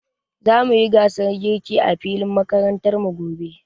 Zamu yi gasar girki a filin makarantar mu gobe.